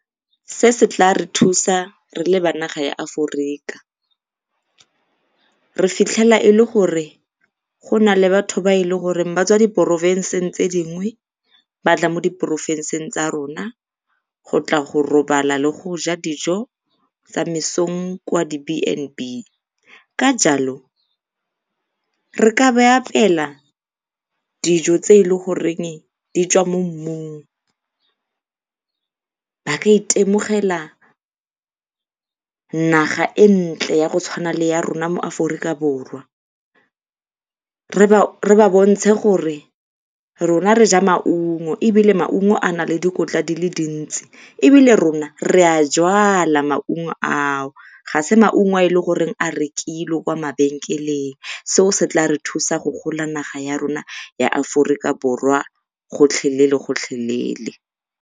Se se tla re thusang re le ba naga ya Aforika. Re fitlhela e le gore go na le batho ba e leng gore ba tswa diporofenseng tse dingwe ba tla mo diporofenseng tsa rona go tla go robala le go ja dijo tsa mesong kwa di-B_N_B. Ka jalo, re ka ba apeela dijo tse e leng goreng di tswa mo mmung. Ba ka itemogela naga e ntle ya go tshwana le ya rona mo Aforika Borwa. re ba bontshe gore rona re ja maungo ebile maugo a na le dikotla di le dintsi, ebile rona re a a jalwa maungo ao. Ga se maungo a e leng gore a rekilwe kwa mabenkeleng, seo se tla re thusa go gola naga ya rona ya Aforika Borwa gotlhelele-gotlhelele